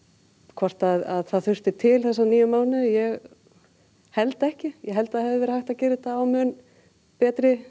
hvort að það þurfti til þessa níu mánuði ég held ekki ég held það hefði verið hægt að gera þetta á mun betri